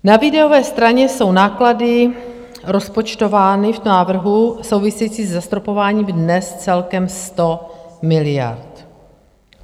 Na výdajové straně jsou náklady rozpočtovány v návrhu, související se zastropováním, dnes celkem 100 miliard.